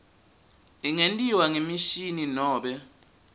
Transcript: ingentiwa ngemishini nobe